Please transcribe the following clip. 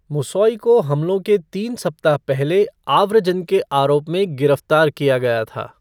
मुसौई को हमलों के तीन सप्ताह पहले आव्रजन के आरोप में गिरफ़्तार किया गया था।